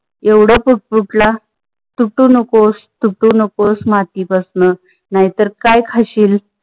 एवड पूट पुटला, तुटू नकोस तुटू नकोस माती पासण नाही तर काय खाशील.